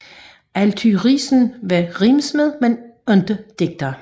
Althuysen var rimsmed men ingen digter